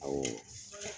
Awɔ